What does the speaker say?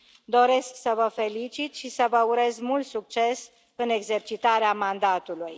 Doresc să vă felicit și să vă urez mult succes în exercitarea mandatului.